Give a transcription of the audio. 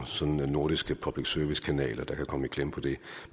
nordiske public service kanaler der kan komme i klemme på det